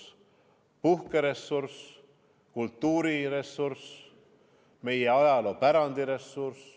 See on ka puhkeressurss, kultuuriressurss, meie ajaloopärandi ressurss.